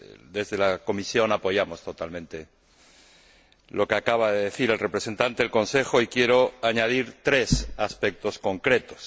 Desde la Comisión apoyamos totalmente lo que acaba de decir el representante del Consejo y quiero añadir tres aspectos concretos.